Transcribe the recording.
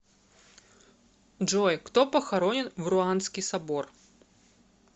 джой кто похоронен в руанский собор